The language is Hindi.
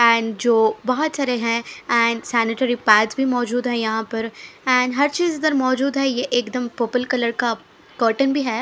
ऐन जो बहोत सारे हैं ऐन सेनेटरी पैड भी मौजूद हैं यहा पर ऐन हर चीज इधर मौजूद है ये एकदम पर्पल कलर का कॉटन भी है।